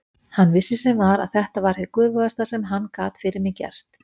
Hann vissi sem var að þetta var hið göfugasta sem hann gat fyrir mig gert.